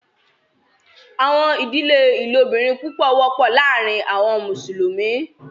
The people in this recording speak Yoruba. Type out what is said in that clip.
Àwọn idílẹ̀ ilòbìrín púpọ̀ wọpọ lárìn àwọn Musulumi.